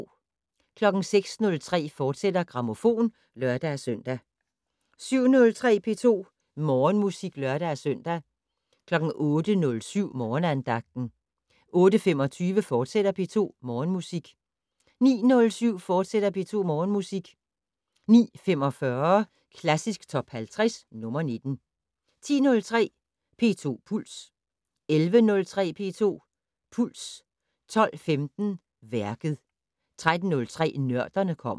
06:03: Grammofon, fortsat (lør-søn) 07:03: P2 Morgenmusik (lør-søn) 08:07: Morgenandagten 08:25: P2 Morgenmusik, fortsat 09:07: P2 Morgenmusik, fortsat 09:45: Klassisk Top 50 - nr. 19 10:03: P2 Puls 11:03: P2 Puls 12:15: Værket 13:03: Nørderne kommer